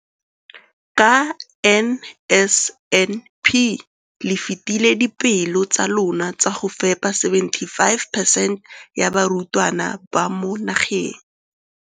Ka NSNP le fetile dipeelo tsa lona tsa go fepa masome a supa le botlhano a diperesente ya barutwana ba mo nageng.